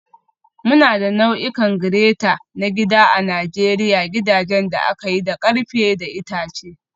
Muna da nau'ikan grater na gida a Najeriya gidajen da aka yi da ƙarfe da itace.